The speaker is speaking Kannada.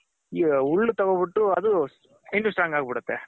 ತಗೊನ್ಬಿಟ್ಟು ಅದು ಇನ್ನು Strong ಆಗ್ ಬಿಡುತ್ತೆ.